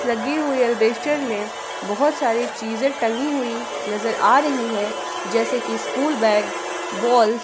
लगी हुई अलबेस्टर में बहोत सारी चीजे टंगी हुई नजर आ रही है जैसे की स्कूल बैग बॉल्स --